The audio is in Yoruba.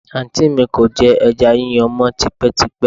Àǹtí mi kò jẹ ẹja yíyan mọ́ tipẹ́tipẹ́